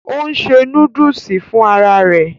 Ò ń ṣe núdúsì fún ara rẹ̀